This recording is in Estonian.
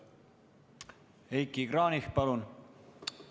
Heiki Kranich, palun!